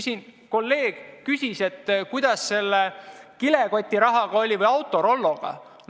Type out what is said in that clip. Siin üks kolleeg küsis, kuidas selle kilekotirahaga ikka oli või Autorolloga.